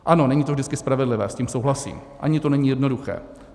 Ano, není to vždycky spravedlivé, s tím souhlasím, ani to není jednoduché.